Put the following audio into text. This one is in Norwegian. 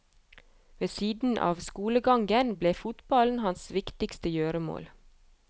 Ved siden av skolegangen ble fotballen hans viktigste gjøremål.